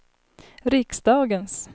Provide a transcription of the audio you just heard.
riksdagens